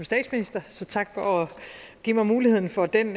statsminister så tak for at give mig muligheden for den